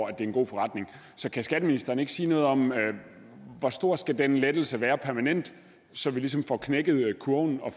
er en god forretning så kan skatteministeren ikke sige noget om hvor stor den lettelse skal være permanent så vi ligesom får knækket kurven og